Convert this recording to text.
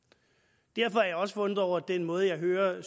derfor er jeg også forundret over den måde jeg hører